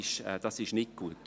– Das ist nicht gut.